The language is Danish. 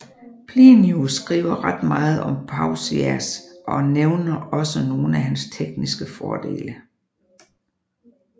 Plinius skriver ret meget om Pausias og nævner også nogle af hans tekniske fordele